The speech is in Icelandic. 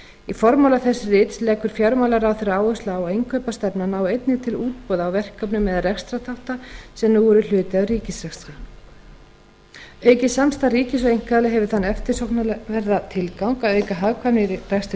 í formála þess rits leggur fjármálaráðherra áherslu á að innkaupastefnan nái einnig til útboða á verkefnum eða rekstrarþátta sem nú eru hluti af ríkisrekstri aukið samstarf ríkis og einkaaðila hefur þann eftirsóknarverða tilgang að auka hagkvæmni í rekstri